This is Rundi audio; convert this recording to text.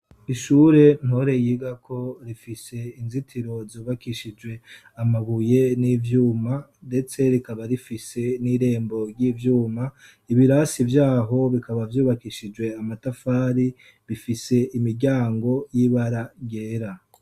Ishure Ntore yigako rifise inzitiro zubakishijwe amabuye n'ivyuma, ndetse rikaba rifise n'irembo ry'ivyuma. Ibirasi vy'aho, bikaba vyubakishijwe amatafari. Bifise imiryango y'ibara ryera.